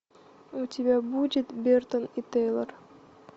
у тебя будет бертон и тейлор